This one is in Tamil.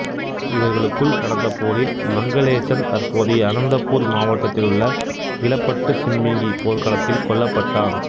இவர்களுக்குள் நடந்த போரில் மங்களேசன் தற்போதைய அனந்தபூர் மாவட்டத்தில் உள்ள இலப்பட்டுசிம்பிங்கி போர்க்களத்தில் கொல்லப்பட்டான்